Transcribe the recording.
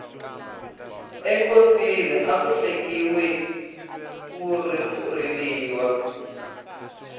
enkosini aku hlekiwi ko riliwa